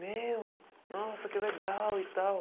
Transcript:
Meu, nossa, que legal e tal.